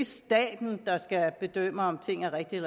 staten der skal bedømme om ting er rigtige